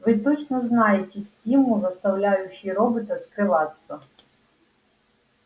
вы точно знаете стимул заставляющий робота скрываться